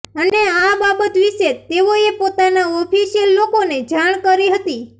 અને આ બાબત વિષે તેઓ એ પોતાના ઓફિશિયલ લોકો ને જાણ કરી હતી